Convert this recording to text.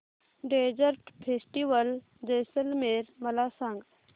desert festival Jaisalmer मला सांग